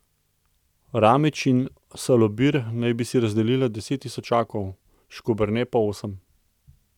Ramić in Salobir naj bi si razdelila deset tisočakov, Škoberne pa osem.